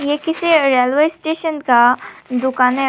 ये किसी railway station का दुकान है।